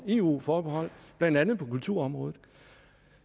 eu forbehold blandt andet på kulturområdet